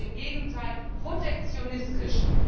Sie ist im Gegenteil protektionistisch.